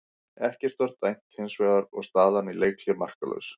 Ekkert var dæmt hins vegar og staðan í leikhléi markalaus.